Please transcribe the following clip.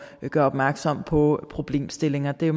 gøre opmærksom på problemstillinger det